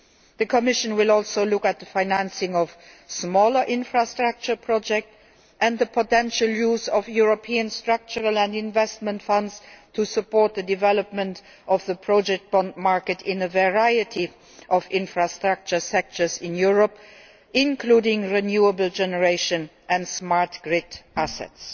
The Commission will also look at the financing of smaller infrastructure projects and the potential use of European Structural and Investment Funds to support the development of the project bond market in a variety of infrastructure sectors in Europe, including renewable generation and smart grid assets.